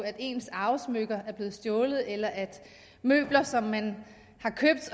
at ens arvesmykker er blevet stjålet eller at møbler som man har købt